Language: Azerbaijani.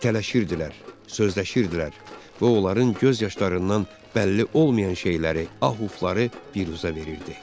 İtələşirdilər, sözləşirdilər və onların göz yaşlarından bəlli olmayan şeyləri, ahufları pirüzə verirdi.